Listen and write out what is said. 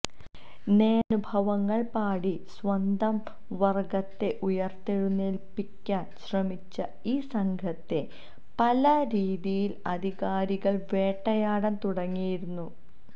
നേരനുഭവങ്ങള് പാടി സ്വന്തം വര്ഗത്തെ ഉയര്ത്തെഴുനേല്പ്പിക്കാന് ശ്രമിച്ച ഈ സംഘത്തെ പല രീതിയില് അധികാരികള് വേട്ടയാടാന് തുടങ്ങുകയായിരുന്നു